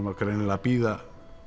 var greinilega að bíða